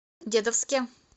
дедовске